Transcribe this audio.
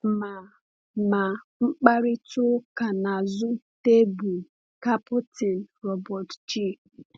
Ma Ma mkparịta ụka n’azụ tebụl Kapten Robert G.